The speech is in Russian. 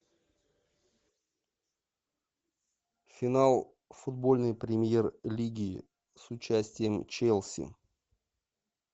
финал футбольной премьер лиги с участием челси